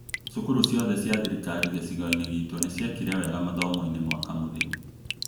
Cukuru ciothe cia thirikari gĩcigo-inĩ gitu nĩ ciekire wega mathomo-inĩ mwaka mũthiru